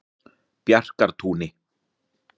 Bjarkartúni